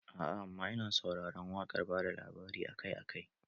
Aa amma ina sauraron waƙar bada labari akai akai